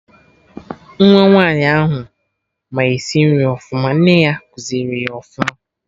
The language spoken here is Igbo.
Nwa Nwaanyi ahụ ma esi nri ọfụma, nne ya kuziri ya ọfụma